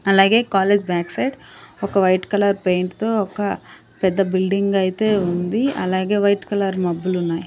అలాగే college back side ఒక white colour paint తో ఒక పెద్ద బిల్డింగ్ అయితే ఉంది అలాగే వైట్ కలర్ మబ్బులు ఉన్నాయి.